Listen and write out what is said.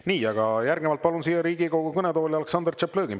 Nii, järgnevalt palun siia Riigikogu kõnetooli Aleksandr Tšaplõgini.